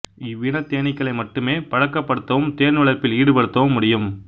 இவ்வினத் தேனீக்களை மட்டுமே பழக்கப் படுத்தவும் தேன் வளர்ப்பில் ஈடுபடுத்தவும் முடியும்